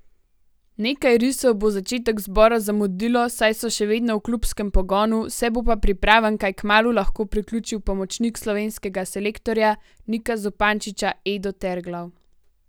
Nekaj risov bo začetek zbora zamudilo, saj so še vedno v klubskem pogonu, se bo pa pripravam kaj kmalu lahko priključil pomočnik slovenskega selektorja Nika Zupančiča Edo Terglav.